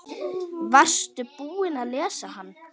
Varstu búinn að lesa hann?